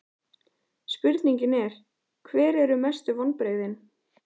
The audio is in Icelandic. Spurningin er: Hver eru mestu vonbrigðin?